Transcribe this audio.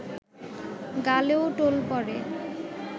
গালেও টোল পড়ে